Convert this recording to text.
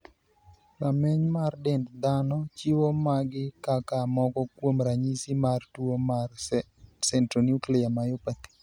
Rameny mar dend dhano chiwo magi kaka moko kuom ranyisi mar tuo mar Centronuclear myopathy.